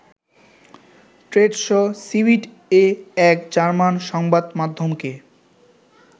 trade show ‘সিবিট’-এ এক German সংবাদমাধ্যমকে